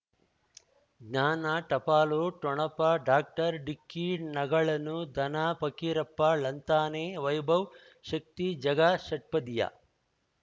ಜ್ಞಾನ ಟಪಾಲು ಠೊಣಪ ಡಾಕ್ಟರ್ ಢಿಕ್ಕಿ ಣಗಳನು ಧನ ಫಕೀರಪ್ಪ ಳಂತಾನೆ ವೈಭವ್ ಶಕ್ತಿ ಝಗಾ ಷಟ್ಪದಿಯ